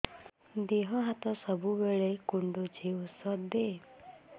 ଦିହ ହାତ ସବୁବେଳେ କୁଣ୍ଡୁଚି ଉଷ୍ଧ ଦେ